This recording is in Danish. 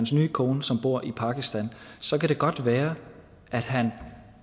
sin nye kone som bor i pakistan så kan det godt være at han